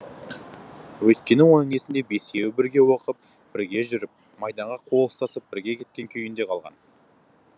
өйткені оның есінде бесеуі бірге оқып бірге жүріп майданға қол ұстасып бірге кеткен күйінде қалған